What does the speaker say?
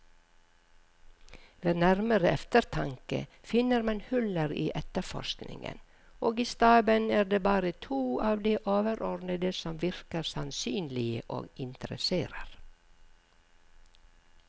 Ved nærmere eftertanke finner man huller i efterforskningen, og i staben er det bare to av de overordnede som virker sannsynlige og interesserer.